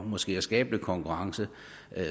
måske at skabe lidt konkurrence